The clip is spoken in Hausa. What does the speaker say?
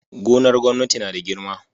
Gonar gwamnati nada girma